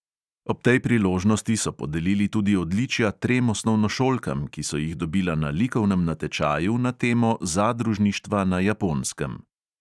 Ob tej priložnosti so podelili tudi odličja trem osnovnošolkam, ki so jih dobila na likovnem natečaju na temo zadružništva na japonskem.